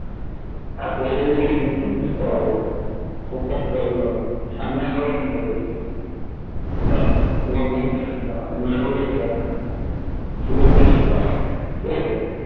আর . হলে মুখটাও মুছতে পারবো খুব কষ্ট হয় এই গরমে সামনে আরো গরম পড়বে ভাই এবার বলতে হবে না বললে দেবে না সেদিন গিয়ে বলতে হবে ঠিক আছে